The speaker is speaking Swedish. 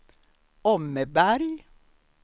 Åmmeberg